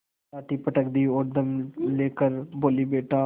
लाठी पटक दी और दम ले कर बोलीबेटा